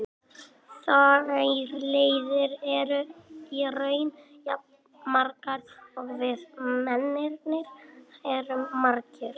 Þær leiðir eru í raun jafn margar og við mennirnir erum margir.